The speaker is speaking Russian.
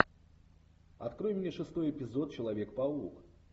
открой мне шестой эпизод человек паук